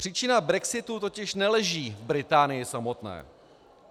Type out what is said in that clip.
Příčina brexitu totiž neleží v Británii samotné.